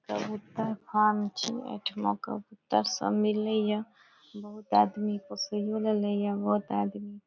कबूतर फार्म छै एठाम कबूतर सब मिलय ये बहुत आदमी को पोसय ले ये बहुत आदमी --